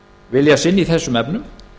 vilja sinn í þessum efnum